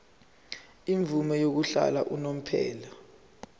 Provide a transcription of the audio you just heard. imvume yokuhlala unomphela